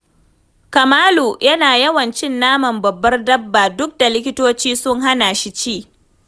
Kamalu yana yawan cin naman babbar dabba, duk kuwa da likitoci sun hana shi ci.